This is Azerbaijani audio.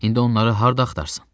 İndi onları harda axtarsan?